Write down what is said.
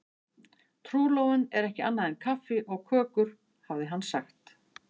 Trúlofun er ekki annað en kaffi og kökur, hafði hann sagt.